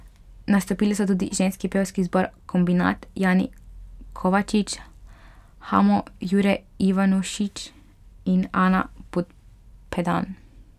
Nastopili so tudi ženski pevski zbor Kombinat, Jani Kovačič, Hamo, Jure Ivanušič in Ana Pupedan.